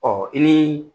Ɔ i ni